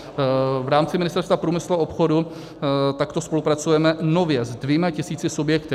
V rámci Ministerstva průmyslu a obchodu takto spolupracujeme nově se dvěma tisíci subjekty.